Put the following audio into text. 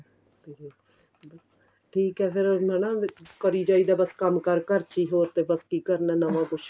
ਤੇ ਫੇਰ ਬੱਸ ਠੀਕ ਏ ਫੇਰ ਇੰਨਾ ਨਾ ਕਰੀ ਜਾਈ ਦਾ ਬੱਸ ਕੰਮ ਕਾਰ ਘਰ ਚ ਈ ਹੋਰ ਤਾਂ ਬੱਸ ਕੀ ਕਰਨਾ ਨਵਾ ਕੁੱਝ